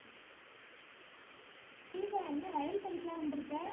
தீபா என்ன வயல் பக்கத்துல எல்லாம் வந்திருக்க